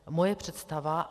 Moje představa...